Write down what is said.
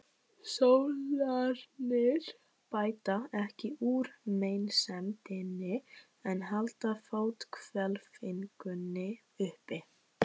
Sólarnir bæta ekki úr meinsemdinni en halda fóthvelfingunni uppi.